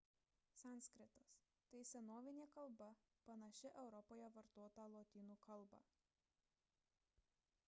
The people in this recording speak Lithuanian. sanskritas – tai senovinė kalba panaši europoje vartotą lotynų kalbą